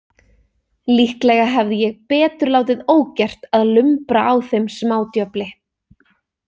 Líklega hefði ég betur látið ógert að lumbra á þeim smádjöfli.